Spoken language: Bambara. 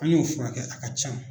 An y'o fura kɛ a ka ca.